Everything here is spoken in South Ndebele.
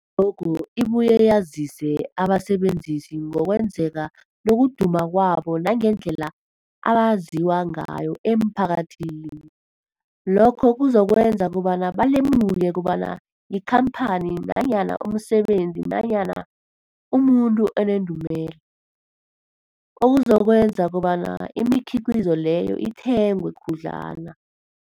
I-logo ibuye yazise abasebenzisi ngokwazeka nokuduma kwabo nangendlela abaziwa ngayo emphakathini. Lokho kuzokwenza kobana balemuke kobana yikhamphani nanyana umsebenzi nanyana umuntu onendumela, okuzokwenza kobana imikhiqhizo leyo ithengwe khudlwana.